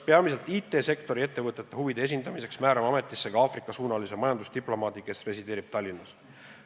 Peamiselt IT-sektori ettevõtete huvide esindamiseks määrame ametisse ka Aafrika-suunalist tegevust arendava majandusdiplomaadi, kes resideerib Tallinnas.